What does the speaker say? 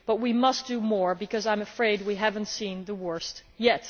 But we must do more, because I am afraid we have not seen the worst yet.